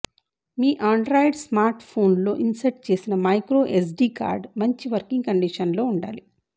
మీ Android స్మార్ట్ఫోన్లో insert చేసిన micro SD card మంచి వర్కింగ్ కండీషన్లో ఉండాలి